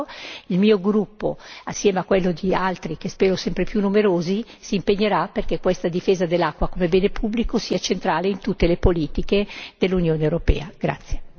L'Europa cerca di farlo, il mio gruppo assieme a quello di altri, che spero sempre più numerosi, si impegnerà perché questa difesa dell'acqua come bene pubblico sia centrale in tutte le politiche dell'Unione europea.